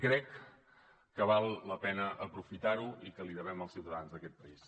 crec que val la pena aprofitar ho i que ho devem als ciutadans d’aquest país